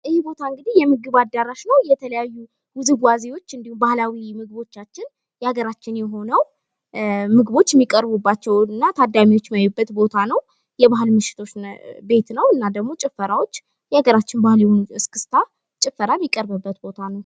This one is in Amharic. ይህ ቦታ እንግዲህ የምግብ አዳራሽ ነው። የተለያዩ ውዝዋዜዎች እንድሁም ባህላዊ ምግቦቻችን የሀገራችን የሆነው ምግቦች የሚቀርብባቸው እና ታዳሚዎች የሚያዩበት ቦታ ነው። የባህል ምሽቶች ቤት ነው። እና ደግሞ ጭፈራዎች የሀገራችን ባህል የሆነው እስክስታ ጭፈራ የሚቀርብበት ቦታ ነው።